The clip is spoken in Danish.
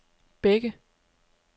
Bække